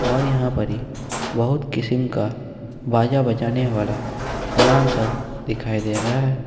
और यहां परी बहुत किसीम का बाजा बजाने वाला समान सब दिखाई दे रहा है।